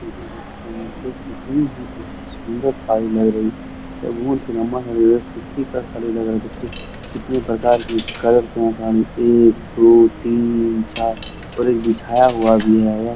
पे कितनी ही अच्छी सुंदर साड़ी लग रही है। यह बहुत ही लम्बा है और सुत्ती का साड़ी लग रहा है। देखिये कितने प्रकार की कलर के साड़िया एक दो तीन चार और एक बिछाया हुआ भी है।